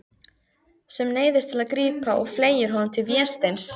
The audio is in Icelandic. Sem neyðist til að grípa og fleygir honum til Vésteins.